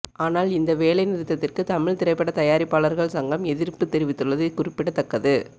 ஆனால் இந்த வேலை நிறுத்தத்திற்கு தமிழ் திரைப்பட தயாரிப்பாளர்கள் சங்கம் எதிர்ப்பு தெரிவித்துள்ளது குறிப்பிடத்தக்கது